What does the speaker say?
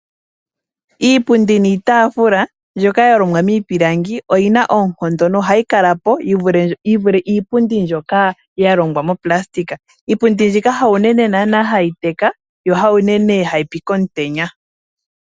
Iipundi niitaafula mbyoka yalongwa miipilangi oyina oonkondo yivule iipundi mbyoka yalongwa monayilona. Iipundi mbika ha unene naana hayi teka no ha unene hayipi komutenya.